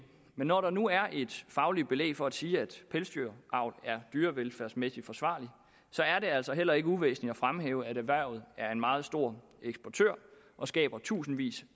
men når der nu er et fagligt belæg for at sige at pelsdyravl er dyrevelfærdsmæssig forsvarligt er det altså heller ikke uvæsentligt at fremhæve at erhvervet er en meget stor eksportør og skaber tusindvis